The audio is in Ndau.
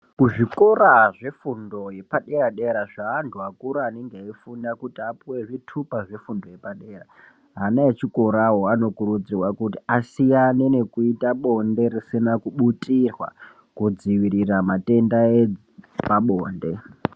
Ku zvikora zve fundo yepa dera zva andu akura anenge ei funda kuti apuwe zvitupa zve fundo yepa dera ana echi korayo ano kurudzirwa kuti asiyane nekuita bonde risina ku butirwa kudzivirira matenda epa bonde.